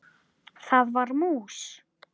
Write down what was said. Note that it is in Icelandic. Það var mús!